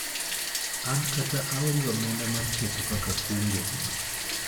an kata aonge omenda mar keto kaka kungo